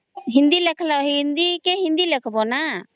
ହିନ୍ଦୀ କୋ ହିନ୍ଦୀ ଳେଖବ ନା